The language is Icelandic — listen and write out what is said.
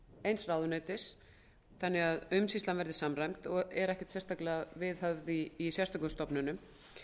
eins ráðuneytis þannig að umsýslan verði samræmd og er ekkert sérstaklega viðhöfð í sérstökum stofnunum